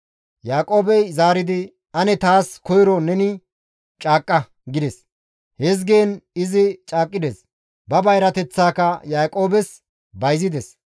Yaaqoobey zaaridi, «Ane taas koyro neni caaqqa» gides; hizgiin izi caaqqides; ba bayrateththaaka Yaaqoobes bayzides.